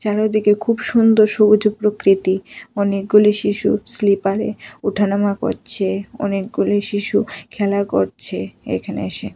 চারোদিকে খুব সুন্দর সবুজ প্রকৃতি অনেকগুলি শিশু স্লিপারে উঠানামা করছে অনেকগুলি শিশু খেলা করছে এখানে এসে।